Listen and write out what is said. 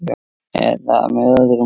. eða með öðrum